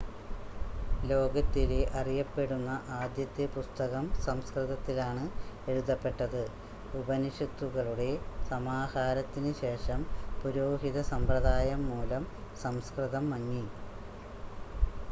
ലോകത്തിലെ അറിയപ്പെടുന്ന ആദ്യത്തെ പുസ്തകം സംസ്‌കൃതത്തിലാണ് എഴുതപ്പെട്ടത് ഉപനിഷത്തുക്കളുടെ സമാഹാരത്തിന് ശേഷം പുരോഹിത സമ്പ്രദായം മൂലം സംസ്‌കൃതം മങ്ങി